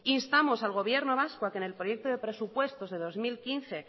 instamos al gobierno vasco a que en el proyecto de presupuestos del dos mil quince